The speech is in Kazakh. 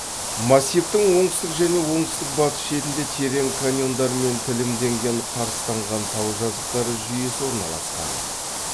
массивтің оңтүстік және оңтүстік батыс шетінде терең каньондармен тілімденген қарыстанған тау жазықтары жүйесі орналасқан